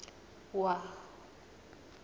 wua